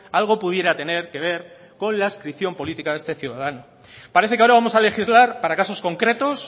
algo pudiera tener que ver con la adscripción política de este ciudadano parece que ahora vamos a legislar para casos concretos